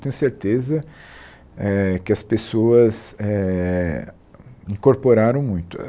Tenho certeza eh que as pessoas eh incorporaram muito.